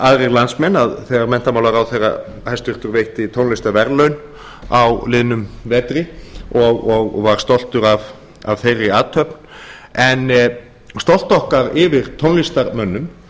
aðrir landsmenn þegar hæstvirtur menntamálaráðherra veitti tónlistarverðlaun á miðjum vetri og var stoltur af þeirri athöfn en stolt okkar yfir tónlistarmönnum